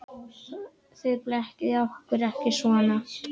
Þið blekkið okkur ekki svona.